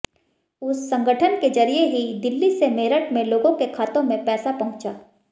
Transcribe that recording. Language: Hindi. उस संगठन के जरिए ही दिल्ली से मेरठ में लोगों के खातों में पैसा पहुंचा